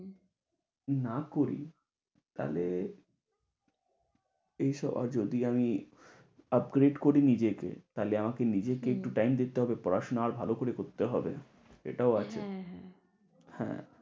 না করি তাহলে এসব যদি আমি upgrade করি নিজেকে। তাহলে আমাকে নিজেকে একটু টাইম দিতে হবে। পড়াশোনা আরো ভালো করে করতে হবে। এটাও আসছে হ্যাঁ